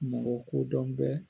Mɔgɔ kodɔn bɛ